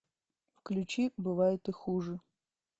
включи бывает и хуже